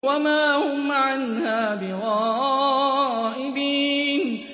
وَمَا هُمْ عَنْهَا بِغَائِبِينَ